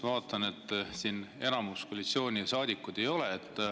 Ma vaatan, et siin enamikku koalitsioonisaadikuid ei ole.